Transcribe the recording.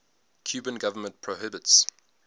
cuban government prohibits